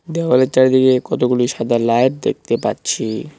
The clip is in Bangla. দেওয়ালের চারদিকে কতগুলি সাদা লাইট দেখতে পাচ্ছি।